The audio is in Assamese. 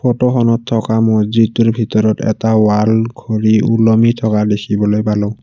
ফটোখনত থকা মছজিদটোৰ ভিতৰত এটা ৱাল ঘড়ী ওলমি থকা দেখিবলৈ পালোঁ।